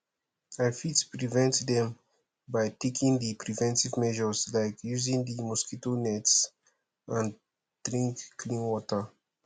i fit prevent dem by taking di preventive measures like using di mosquito nets and drink clean water